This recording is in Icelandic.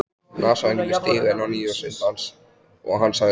Nasavængirnir stigu enn á ný sinn dans og hann sagði